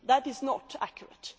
that is not accurate.